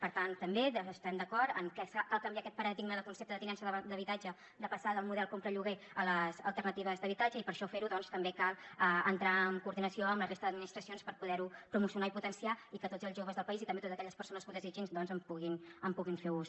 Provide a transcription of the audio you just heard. per tant també estem d’acord en què cal canviar aquest paradigma de concepte de tinença d’habitatge de passar del model compra lloguer a les alternatives d’habitatge i per fer ho doncs també cal entrar en coordinació amb la resta d’administracions per poder ho promocionar i potenciar i que tots els joves del país i també totes aquelles persones que ho desitgin en puguin fer ús